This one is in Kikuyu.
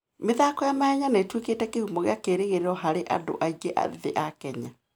mĩthako ya mahenya nĩ ĩtuĩkĩte kĩhumo kĩa kĩĩrĩgĩrĩro harĩ andũ aingĩ ethĩ a Kenya.